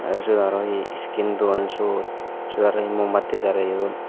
tey syot aro hi skin don syot syot aro hi mombatti jaleyon.